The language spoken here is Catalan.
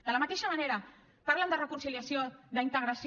de la mateixa manera parlen de reconciliació d’integració